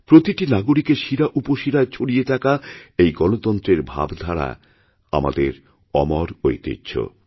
প্রতিটি নাগরিকেরশিরাউপশিরায় ছড়িয়ে থাকা এই গণতন্ত্রের ভাবধারা আমাদের অমর ঐতিহ্য